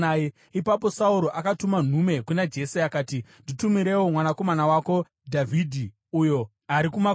Ipapo Sauro akatuma nhume kuna Jese akati, “Nditumirewo mwanakomana wako Dhavhidhi, uyo ari kumakwai.”